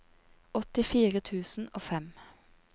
åttifire tusen og fem